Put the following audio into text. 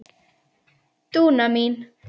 Dúna mín.